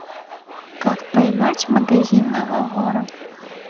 как поймать магазинного вора